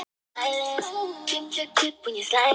Laugavegur er einnig til uppi til fjalla á Íslandi.